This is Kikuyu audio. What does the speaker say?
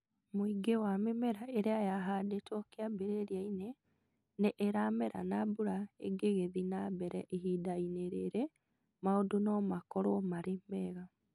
Mũingĩ wa mĩmera ĩrĩa yahandĩtwo kĩambĩrĩria-inĩ nĩ ĩramera na mbura ĩngĩgĩthiĩ na mbere ihinda-inĩ rĩrĩ, maũndũ no makorũo marĩ mega.